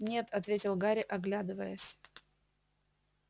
нет ответил гарри оглядываясь